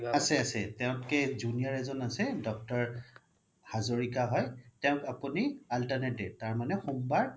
আছে আছে তেওতকে junior এজ্ন আছে doctor হাজৰিকা হয় তেওক আপোনি alternate day তাৰমানে সোমবাৰ